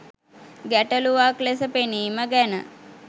ගැටලුවක් ලෙස පෙනීම ගැන